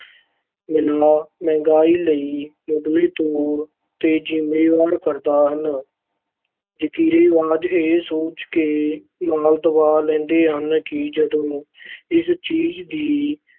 ਫੈਲਾਅ ਮਹਿੰਗਾਈ ਲਈ ਮੁੱਢਲੇ ਤੌਰ ‘ਤੇ ਜ਼ਿੰਮੇਵਾਰ ਕਾਰਨ ਹਨ। ਜ਼ਖ਼ੀਰੇਬਾਜ਼ ਇਹ ਸੋਚ ਕੇ ਮਾਲ ਦਬਾ ਲੈਂਦੇ ਹਨ ਕਿ ਜਦੋਂ ਇਸ ਚੀਜ਼ ਦੀ